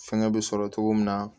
Fɛngɛ bɛ sɔrɔ cogo min na